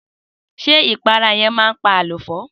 Sé ìpara yen man pa àléfọ́?